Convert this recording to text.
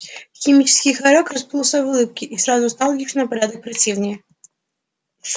химический хорёк расплылся в улыбке и сразу стал ещё на порядок противнее